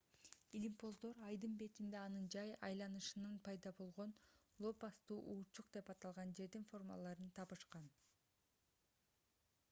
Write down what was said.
илимпоздор айдын бетинде анын жай айланышынан пайда болгон лопасттуу урчук деп аталган жердин формаларын табышкан